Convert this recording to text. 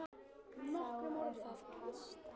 Þá er það pasta.